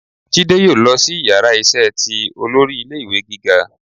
Jidé yóò losí iyàrá iṣẹ tí olórí ilé ìwé gíga